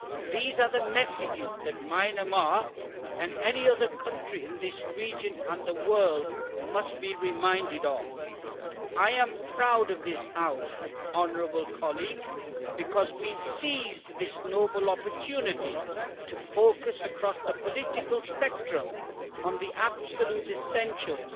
These are the messages that Myanmar, and any other country in this region and the world, must be reminded of. I am proud of this House, honourable colleagues, because we seized this noble opportunity to focus across the political spectrum on the absolute essentials